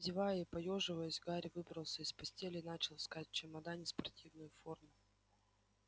зевая и поёживаясь гарри выбрался из постели и начал искать в чемодане спортивную форму